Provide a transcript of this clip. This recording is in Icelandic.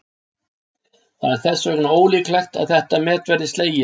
Það er þess vegna ólíklegt að þetta met verði slegið.